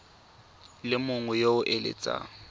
le mongwe yo o eletsang